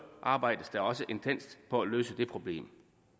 arbejdes der også intenst på at løse det problem